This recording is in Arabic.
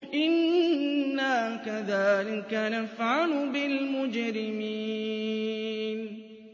إِنَّا كَذَٰلِكَ نَفْعَلُ بِالْمُجْرِمِينَ